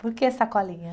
Por que Sacolinha?